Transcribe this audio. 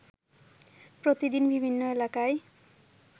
প্রতিদিন বিভিন্ন এলাকায়